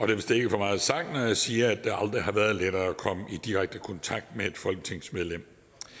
vist ikke for meget sagt når jeg siger at det aldrig har været lettere at komme i direkte kontakt med et folketingsmedlem